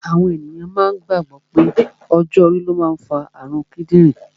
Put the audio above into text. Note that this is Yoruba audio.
Àwọn èyàn máa gbàgbọ̀ pé ọjọ́ orí ló máa ń fa àrun kídìrín